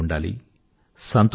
ఆనందమూ ఉండాలి